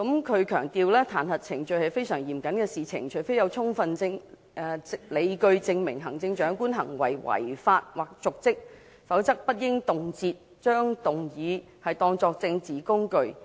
他強調彈劾程序是非常嚴肅的事情，除非有充分理據證明行政長官行為違法或瀆職，否則不應動輒把彈劾議案當作政治工具。